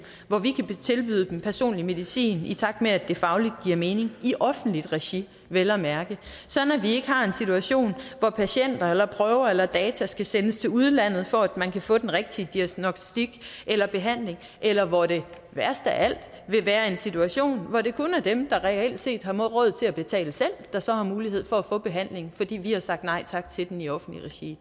hvor vi kan tilbyde den personlige medicin i takt med at det fagligt giver mening i offentligt regi vel at mærke sådan at vi ikke har en situation hvor patienter eller prøver eller data skal sendes til udlandet for at man kan få den rigtige diagnostik eller behandling eller hvor det værst af alt vil være en situation hvor det kun er dem der reelt set har råd til at betale selv der så har mulighed for at få behandlingen fordi vi har sagt nej tak til den i offentligt regi i